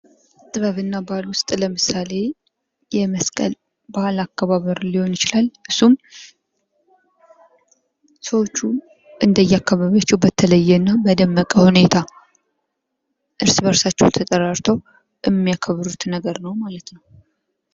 ጥበብ እና ባህል ዉስጥ ለምሳሌ የመስቀል በዓል አከባበር ሊሆን ይችላል። እሱም ሰዎቹ እንደ የአካባቢያቸዉ በተለየና እና በደመቀ ሁኔታ እርስ በርስ ተጠራርተዉ የሚያከብሩት ነዉ።